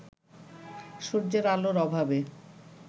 সূর্যের আলোর অভাবে